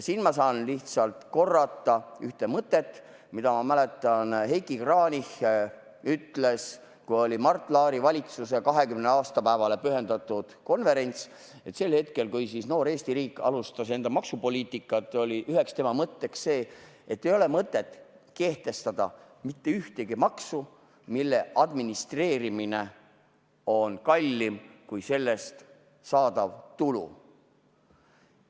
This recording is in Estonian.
Siin ma saan lihtsalt korrata ühte mõtet, mida, ma mäletan, Heiki Kranich ütles, kui oli Mart Laari valitsuse 20. aastapäevale pühendatud konverents: sel hetkel, kui noor Eesti riik alustas enda maksupoliitikaga, oli üheks mõtteks see, et ei ole mõtet kehtestada mitte ühtegi maksu, mille administreerimine on kallim kui sellest saadav tulu.